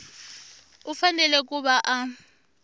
u fanele ku va a